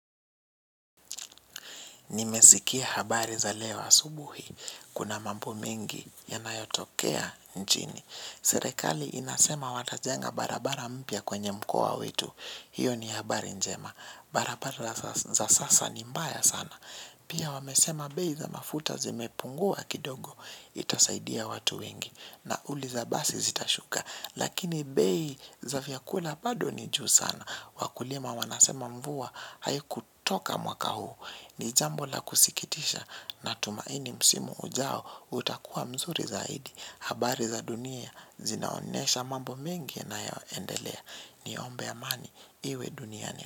Nimesikia habari za leo asubuhi, kuna mambo mengi yanayotokea nchini. Serekali inasema watajenga barabara mpya kwenye mkoa wetu, hiyo ni habari njema. Barabara za sasa ni mbaya sana. Pia wamesema bei za mafuta zimepungua kidogo, itasaidia watu wengi. Nauli za basi zitashuka, lakini bei za vyakula bado ni juu sana. Wakulima wanasema mvua, hai kutoka mwaka huu. Ni jambo la kusikitisha na tumaini msimu ujao utakuwa mzuri zaidi. Habari za dunia zinaonesha mambo mingi na yaoendelea, niombe amani iwe duniani.